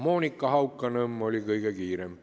Monika Hauanõmm oli kõige kiirem.